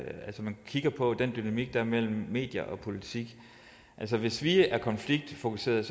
man kigger på den dynamik der er mellem medier og politik hvis vi er konfliktfokuserede